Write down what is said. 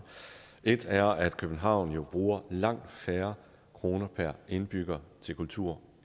et er at københavn jo bruger langt færre kroner per indbygger til kultur